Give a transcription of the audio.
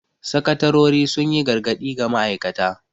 Sakatarori sun yi gargadi ga ma'aikata.